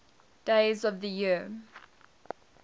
days of the year